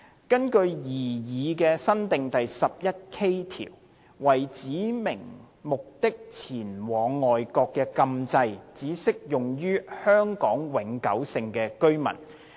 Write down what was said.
根據擬議新訂的第 11K 條，為指明目的前往外國的禁制只適用於香港永久性居民。